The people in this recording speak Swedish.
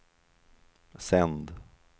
sänd